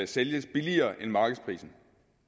sælges billigere end markedsprisen